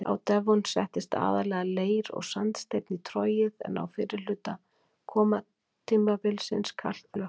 Á devon settist aðallega leir- og sandsteinn í trogið en á fyrri hluta kolatímabilsins kalklög.